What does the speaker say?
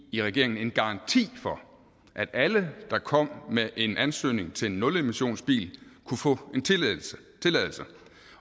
i regeringen give en garanti for at alle der kom med en ansøgning til en nulemissionsbil kunne få en tilladelse